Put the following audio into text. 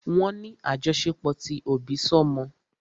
Wọ́n ní àjọṣepọ̀ ti òbísọ́mọ.